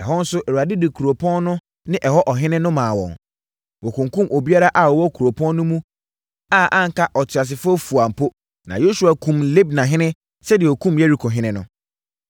Ɛhɔ nso, Awurade de kuropɔn no ne ɛhɔ ɔhene no maa wɔn. Wɔkunkumm obiara a ɔwɔ kuropɔn no mu a anka ɔteasefoɔ fua po. Na Yosua kumm Libnahene sɛdeɛ ɔkumm Yerikohene no.